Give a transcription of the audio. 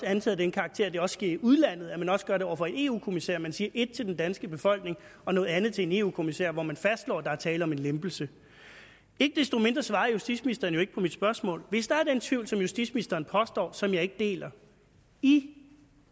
antaget den karakter at det også sker i udlandet altså at man også gør det over for en eu kommissær man siger et til den danske befolkning og noget andet til en eu kommissær hvor man fastslår at der er tale om en lempelse ikke desto mindre svarede justitsministeren jo ikke på mit spørgsmål hvis der er den tvivl som justitsministeren påstår og som jeg ikke deler i